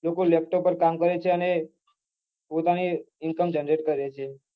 લોકો laptop પર કામ કરે છે અને પોતાની income generate કરે છે